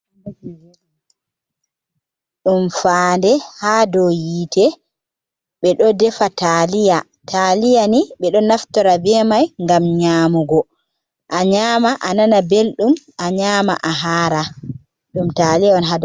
Ɗum faande ha dou hitte ɓe ɗo defa taliya, taliya ni ɓe ɗo naftora be mai ngam nyamugo, a nyama a nana belɗum, a nyama a hara, ɗum taliya.